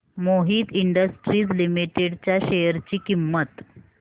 Mohit industries limited च्या share ची किंमत